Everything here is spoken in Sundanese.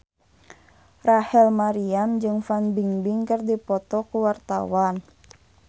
Rachel Maryam jeung Fan Bingbing keur dipoto ku wartawan